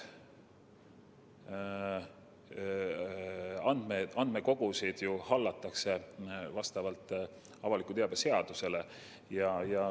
Andmekogusid hallatakse ju vastavalt avaliku teabe seadusele.